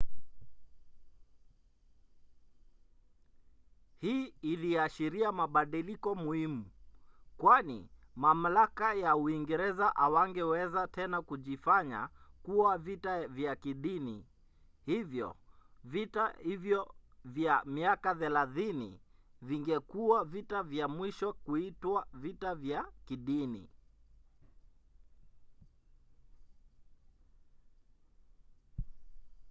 hii iliashiria mabadiliko muhimu kwani mamlaka ya uingereza hawangeweza tena kujifanya kuwa vita vya kidini. hivyo vita hivyo vya miaka thelathini vingekuwa vita vya mwisho kuitwa vita vya kidini